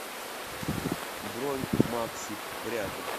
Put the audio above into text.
бронь макси пряжа